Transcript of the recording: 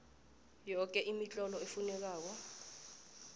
yoke imitlolo efunekako